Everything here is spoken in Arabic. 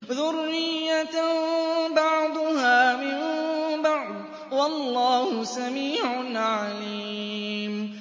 ذُرِّيَّةً بَعْضُهَا مِن بَعْضٍ ۗ وَاللَّهُ سَمِيعٌ عَلِيمٌ